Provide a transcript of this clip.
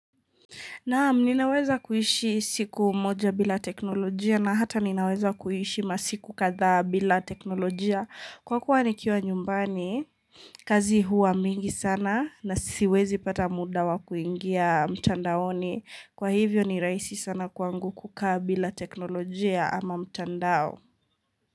Naam, ninaweza kuhishi siku moja bila teknolojia na hata ninaweza kuhishi masiku kadha bila teknolojia. Kwa kuwa nikiwa nyumbani, kazi huwa mingi sana na siwezi pata muda wa kuingia mtandaoni. Kwa hivyo ni raisi sana kwangu kukaa bila teknolojia ama mtandao.